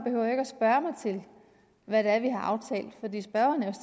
hvad det er vi har aftalt fordi spørgeren er